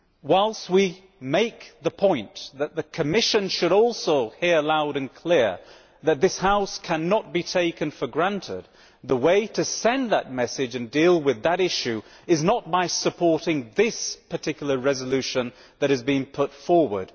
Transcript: Whilst we make the point that the Commission should also hear loud and clear that this House cannot be taken for granted, the way to send that message and deal with that issue is not by supporting this particular resolution that has been put forward.